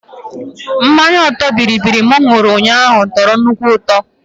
Mmanya ọtọ bịrịbịrị m ṅụrụ ụnyaahụ tọrọ nnukwu ụtọ